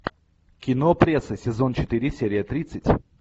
кино пресса сезон четыре серия тридцать